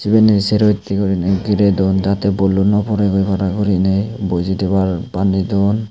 iben he sero hitte guri gire dun jate bollu nw poregoi para guriney boji thebar baney dun.